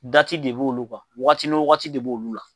de b' olu kan, waati ni wagati b'olu la